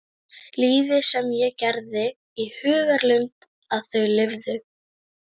Lífið sem ég gerði mér í hugarlund að þau lifðu.